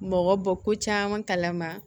Mɔgɔ bɔ ko caman kalama